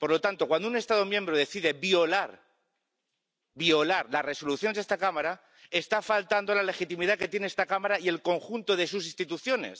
Por lo tanto, cuando un Estado miembro decide violar las Resoluciones de esta Cámara está faltando a la legitimidad que tiene esta Cámara y el conjunto de sus instituciones.